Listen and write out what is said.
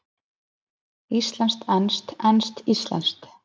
Íslenskt-enskt, enskt-íslenskt.